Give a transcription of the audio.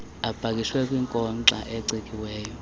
apakishwe kwinkonxa ecikiweyo